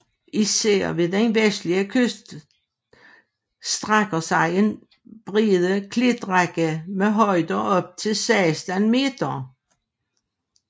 Især ved den vestlige kyst strækker sig en brede klitrække med højder op til 16 meter